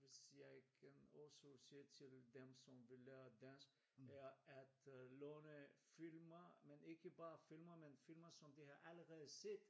Hvis jeg igen også siger til dem som vil lære dansk er at låne filmer men ikke bare filmer men filmer som de har allerede set!